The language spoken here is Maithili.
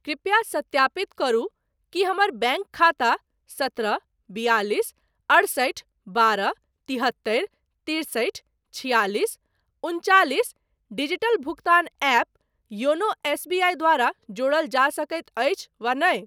कृपया सत्यापित करु कि हमर बैंक खाता सत्रह बियालिस अठसठि बारह तिहत्तरि तिरसठि छिआलिस उनचालिस डिजिटल भुगतान ऐप योनो एसबीआई द्वारा जोड़ल जा सकैत अछि वा नहि।